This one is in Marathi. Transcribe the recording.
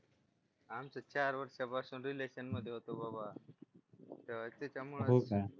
आमचं चार वर्षापासून रिलेशन मध्ये होता बाबा हो का तर त्याच्यामुळे